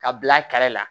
Ka bila kɛrɛ la